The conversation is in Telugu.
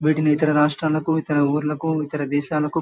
వీటిని ఇతర రాష్ట్రాలకు ఇతర ఊర్లకు ఇతర దేశాలకు --